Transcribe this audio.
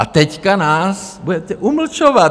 A teď nás budete umlčovat.